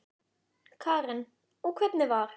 Karen: Og hvernig var?